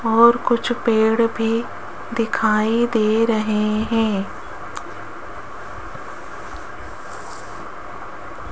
और कुछ पेड़ भी दिखाई दे रहे हैं।